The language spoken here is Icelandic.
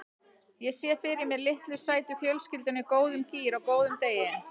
Ég sé fyrir mér litlu sætu fjölskylduna í góðum gír á góðum degi.